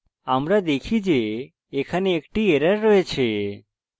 আমরা দেখি যে এখানে একটি error রয়েছে